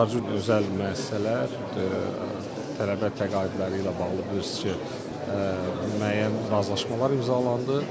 Həmçinin özəl müəssisələr tələbə təqaüdləri ilə bağlı bilirsiz ki, müəyyən razılaşmalar imzalandı.